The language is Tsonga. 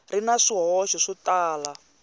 ri na swihoxo swo tala